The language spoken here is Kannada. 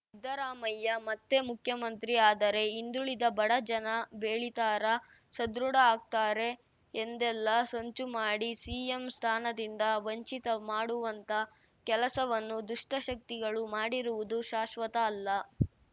ಸಿದ್ದರಾಮಯ್ಯ ಮತ್ತೇ ಮುಖ್ಯಮಂತ್ರಿ ಆದರೆ ಹಿಂದುಳಿದ ಬಡ ಜನ ಬೆಳೀತಾರ ಸದೃಢ ಆಗ್ತಾರೆ ಎಂದೆಲ್ಲ ಸಂಚು ಮಾಡಿ ಸಿಎಂ ಸ್ಥಾನದಿಂದ ವಂಚಿತ ಮಾಡುವಂಥ ಕೆಲಸವನ್ನು ದುಷ್ಟಶಕ್ತಿಗಳು ಮಾಡಿರುವುದು ಶಾಶ್ವತ ಅಲ್ಲ